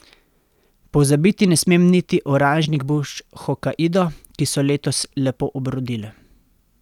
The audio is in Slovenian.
Pozabiti ne smem niti oranžnih buč hokaido, ki so letos lepo obrodile.